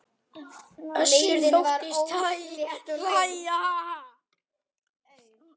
Össur þóttist hlæja:- Ha ha.